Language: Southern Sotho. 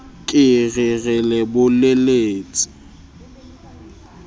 ke re re le bolelletse